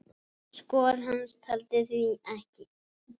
Frá öllu og engu.